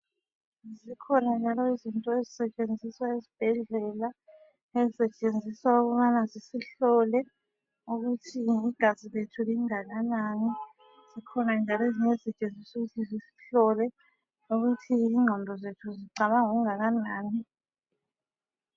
Kukhona njalo izinto ezisetshenziswa esibhedlela ezisetshenziswa ukubana zisihlole ukuthi igazi lethu lingakanani. Zikhona njalo ezisetshenziswa ukuthi zisihlole ukuthi ingqondo zethu zicabanga okungakanani.